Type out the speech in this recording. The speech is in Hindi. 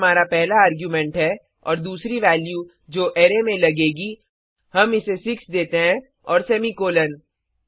यह हमारा पहला आर्गुमेंट्स है और दूसरी वैल्यू जो अराय में लगेगा हम इसे 6 देते हैं और सेमीकॉलन